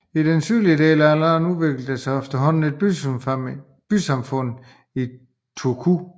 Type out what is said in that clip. I den sydvestlige del af landet udviklede der sig efterhånden et bysamfund i Turku